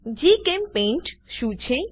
જીચેમ્પેઇન્ટ શું છે